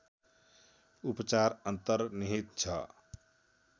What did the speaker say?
उपचार अन्तर्निहित छ